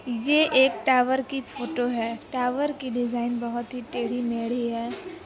ये एक टॉवर की फोटो है टॉवर की डिज़ाइन बहुत ही टेढ़ी-मेढ़ी है।